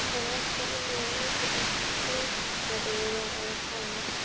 Hafa allt annað að auki sem skáldskapur verði að hafa.